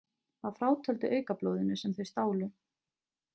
Að frátöldu aukablóðinu sem þau stálu.